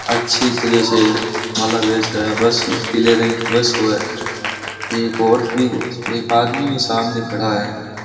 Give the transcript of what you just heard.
अच्छी तरह से मालाबेस पे बस पीले रंग की बस को ए एक औरत भी एक आदमी सामने खड़ा है।